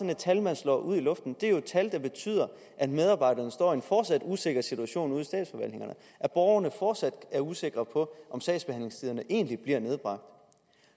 et tal man slynger ud i luften det er jo et tal der betyder at medarbejderne står i en fortsat usikker situation ude og at borgerne fortsat er usikre på om sagsbehandlingstiderne egentlig bliver nedbragt